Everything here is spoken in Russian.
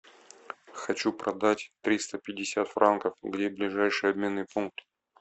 хочу продать триста пятьдесят франков где ближайший обменный пункт